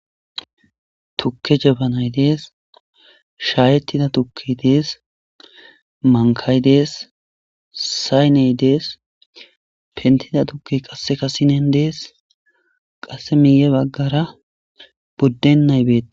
Tuke jabanayi dees sha,etida tuke dee's mankayi dee,s sayine dee,s pentida tuke qasika sinen dee,s qasi miye bagare budenayi betees